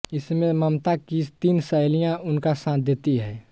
इसमें ममता की तीन सहेलियां उनका साथ देती हैं